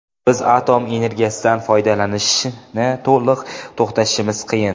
Biz atom energiyasidan foydalanishni to‘liq to‘xtatishimiz qiyin.